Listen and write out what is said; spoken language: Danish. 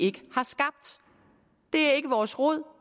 ikke har skabt det er ikke vores rod